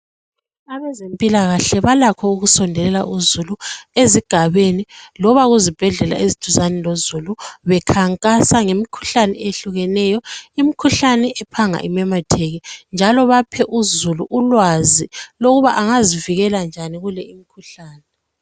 Abezempilakahle balakho ukusondelela uzulu ezigabeni loba kuzibhedlela eziduzane lozulu bekhankasa ngemikhuhlane ehlukeneyo, imikhuhlane ephanga imemetheke njalo baphe uzulu ulwazi lokuba angazivikela njani kule imikhuhlane.